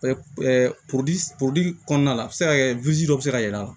kɔnɔna la a bɛ se ka kɛ dɔ bɛ se ka y'a la